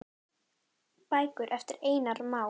Bækur eftir Einar Má.